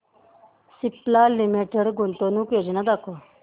Cipla limited गुंतवणूक योजना दाखव